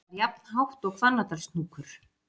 Það er jafnhátt og Hvannadalshnúkur.